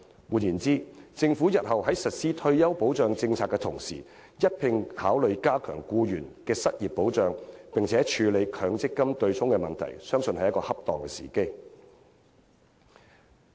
換言之，政府日後在實施退休保障政策的同時，應一併考慮加強僱員的失業保障，同時處理強積金對沖問題，相信是恰當的時機。